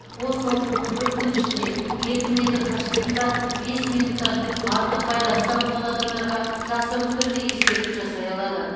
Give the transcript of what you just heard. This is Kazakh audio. ол соңғы он төрт күн ішінде екі метр қашықтықта бес минуттан артық байланыста болған адамдарға жасырын түрде ескерту жасай алады